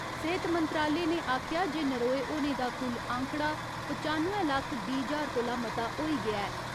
सेहत मंत्रालय ने आखेया जे नरोए होने दा कुल आंकड़ा पचानुए लक्ख बीह् ज्हार कोला मता होई गेआ ऐ।